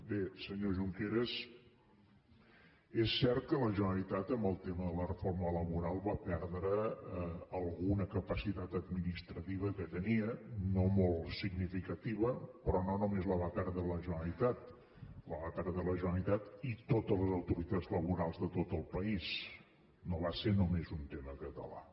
bé senyor junqueras és cert que la generalitat amb el tema de la reforma laboral va perdre alguna capacitat administrativa que tenia no molt significativa però no només la va perdre la generalitat la va perdre la generalitat i totes les autoritats laborals de tot el país no va ser només un tema català